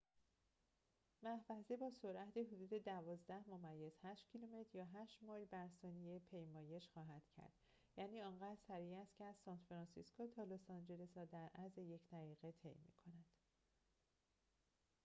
محفظه با سرعت حدود ۱۲.۸ کیلومتر یا ۸ مایل بر ثانیه پیمایش خواهد کرد یعنی آنقدر سریع است که از سان‌فرانسیسکو تا لس‌آنجلس را در عرض یک دقیقه طی می‌کند